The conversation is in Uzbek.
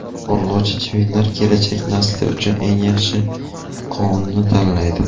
Urg‘ochi chivinlar kelajak nasli uchun eng yaxshi qonni tanlaydi.